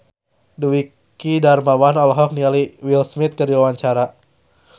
Dwiki Darmawan olohok ningali Will Smith keur diwawancara